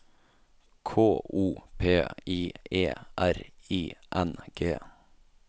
K O P I E R I N G